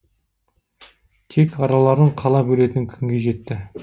тек араларын қала бөлетін күнге жетті